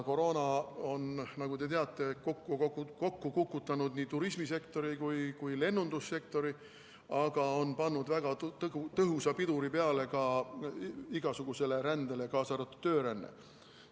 Koroona on, nagu te teate, kokku kukutanud nii turismisektori kui ka lennundussektori, aga on pannud väga tõhusa piduri peale ka igasugusele rändele, kaasa arvatud töörändele.